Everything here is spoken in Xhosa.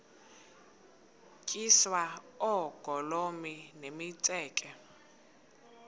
tyiswa oogolomi nemitseke